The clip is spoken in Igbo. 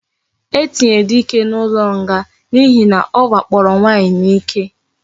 E tinyere dike na ulo nga na ihe na owakporo nwanyi na ike